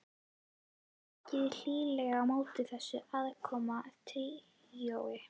Var tekið hlýlega á móti þessu aðkomna tríói.